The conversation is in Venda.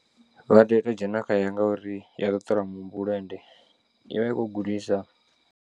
Vha tea u to dzhena khaye ngauri ya ṱuṱula muhumbulo ende ivha i kho u gudisa.